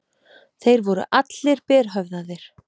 Þeir voru allir berhöfðaðir.